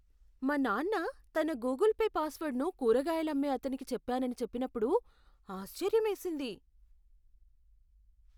మా నాన్న తన గూగుల్ పే పాస్వర్డ్ను కూరగాయలు అమ్మే అతనికి చెప్పానని చెప్పినప్పుడు ఆశ్చర్యమేసింది.